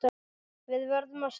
Við verðum að stoppa hann.